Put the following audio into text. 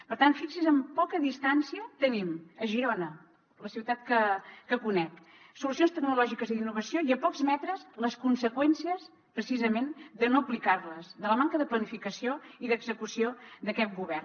per tant fixi s’hi amb poca distància tenim a girona la ciutat que conec solucions tecnològiques i d’innovació i a pocs metres les conseqüències precisament de no aplicar les de la manca de planificació i d’execució d’aquest govern